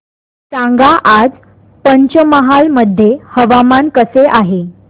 सांगा आज पंचमहाल मध्ये हवामान कसे आहे